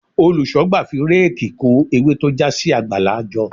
Olùṣọ́gbà fi réèkì kó ewé tó já sí àgbàlá jọ.